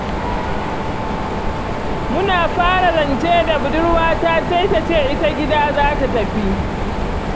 Muna fara zance da budurwata sai ta ce ita gida za ta tafi.